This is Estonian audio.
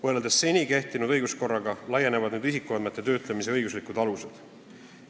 Võrreldes seni kehtinud õiguskorraga laienevad isikuandmete töötlemise õiguslikud alused.